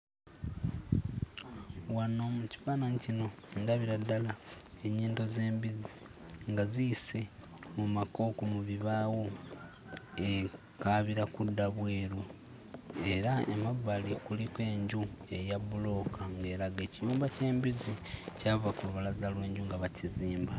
Wano mu kifaananyi kino ndabira ddala ennyindo z'embizzi nga ziyise mu makooko mu bibaawo, ekaabira kudda bweru era emabbali kuliko enju eya bbulooka ng'eraga ekiyumba ky'embizzi kyava ku lubalaza lw'enju nga bakizimba.